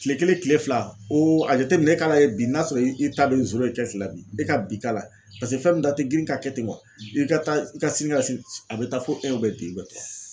Kile kelen kile fila o a jateminɛ e ka lajɛ bi n'a sɔrɔ i ta be e ka bi k'a la paseke fɛn min ta tɛ girin ka kɛ ten wa i ka taa i ka sini ka se a bɛ taa fo